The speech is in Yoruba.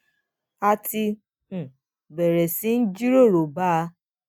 a ti um bèrè sí í jíròrò bá a